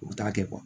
U bɛ taa kɛ